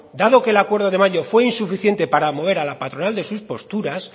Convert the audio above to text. dado que el acuerdo de mayo fue insuficiente para mover a la patronal de sus posturas